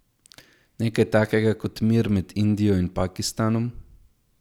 Nekaj takega kot mir med Indijo in Pakistanom?